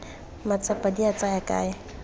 matsapa di a tsaya kae